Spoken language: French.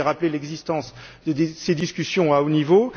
Vous avez rappelé l'existence de ces discussions à haut niveau.